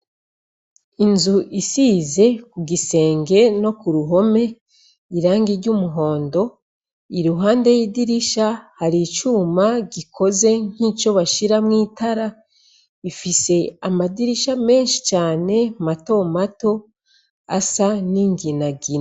Inzu isize ku gisenge no ku ruhome irangi ry'umuhondo. I ruhande y'idirisha hari icuma gikoze nk'ico bashira mu itara ,ifise amadirisha menshi cyane mato mato asa n'ingina gina.